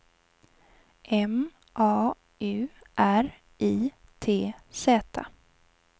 M A U R I T Z